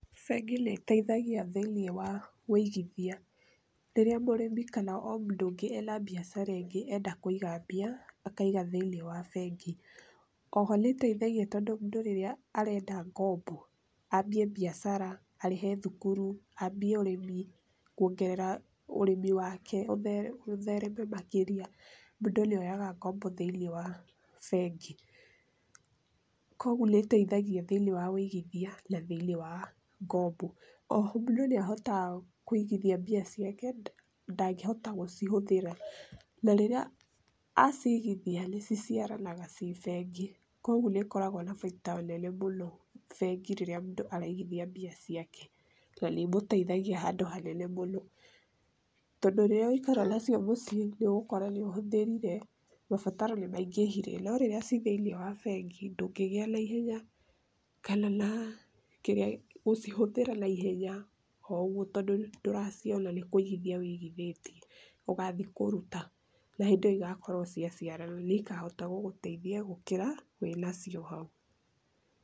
Bengi nĩ ĩteithagia thĩinĩ wa ũigithia. Rĩrĩa mũrĩmi kana o mũndũ ũngĩ e na mbiacara ĩngĩ enda kũiga mbia, akaiga thĩinĩ wa bengi .O ho nĩ ĩteithagia tondũ mũndũ rĩrĩa arenda ngombo, aambie biacara, arĩhe thukuru, aambie ũrĩmi, kuongerera ũrĩmi wake ũthereme makĩria, mũndũ nĩ oyaga ngombo thĩinĩ wa bengi. Kwoguo nĩ ĩteithagia thĩinĩ wa ũigithia na thĩinĩ wa ngombo.O ho mũndũ nĩ ahotaga kũigithia mbia ciake, ndangĩhota gũcihũthĩra. Na rĩrĩa aciigithia, nĩ ciciaranaga ci bengi. Kwoguo nĩ ikoragũo na baida nene mũno bengi rĩrĩa mũndũ araigithia mbia ciake. Na nĩ imũteithagia handũ hanene mũno. Tondũ rĩrĩa waikara nacio mũciĩ, nĩ ũgũkora nĩ ũhũthĩrire, mabataro nĩ maingĩhire, no rĩrĩa ci thĩinĩ wa bengi, ndũngĩgĩa na ihenya kana na gũcihũthĩra na ihenya o ũguo tondũ ndũraciona nĩ kũigithia ũigithĩtie ũgathiĩ kũruta na hĩndĩ ĩyo igakorũo cia ciarana, nĩ ikahota gũgũteithia gũkĩra wĩ nacio hau.